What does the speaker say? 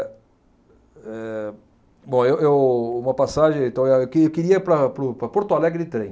Eh, bom, eu eu uma passagem então é que eu queria ir para para o para Porto Alegre de trem.